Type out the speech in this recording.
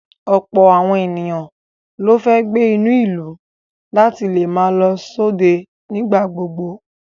Ọ̀pọ̀ àwọn ènìyàn ló fẹ́ gbé inú ìlú láti lè máa lọ sóde nígbà kigbà.